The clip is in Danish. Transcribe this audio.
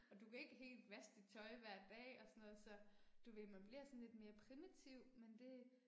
Og du kan ikke helt vaske dit tøj hver dag og sådan noget så, du ved, man bliver sådan lidt mere primitiv men det